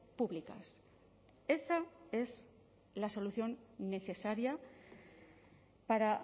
públicas esa es la solución necesaria para